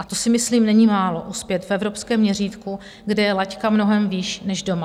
A to si myslím, není málo, uspět v evropském měřítku, kde je laťka mnohem výš než doma.